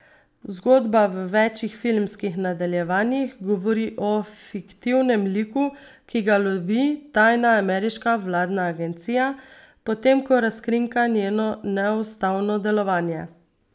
Zgodba v večih filmskih nadaljevanjih govori o fiktivnem liku, ki ga lovi tajna ameriška vladna agencija, potem ko razkrinka njeno neustavno delovanje.